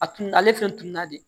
A tun ale fɛn tununna de